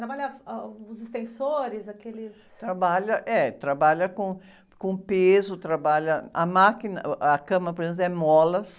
Trabalha, ah, os extensores, aqueles...rabalha, é, trabalha com, com peso, trabalha. A máquina, uh, ãh, a cama, por exemplo, é molas.